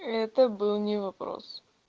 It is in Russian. это был не вопрос